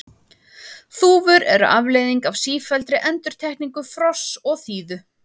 þúfur eru afleiðing af sífelldri endurtekningu frosts og þíðu